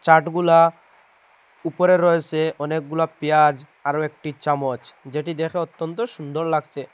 চাটগুলা উপরে রয়েসে অনেকগুলা পেঁয়াজ আরো একটি চামচ যেটি দেখে অত্যন্ত সুন্দর লাগসে।